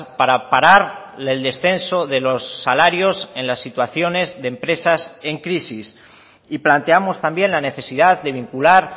para parar el descenso de los salarios en las situaciones de empresas en crisis y planteamos también la necesidad de vincular